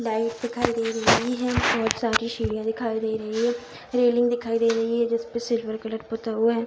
Light दिखाई दे रही है। बोहोत सारी सीढियाँ दिखाई दे रही है। रेलिंग दिखाई दे रही है जिसपे सिल्वर कलर पुता हुआ है।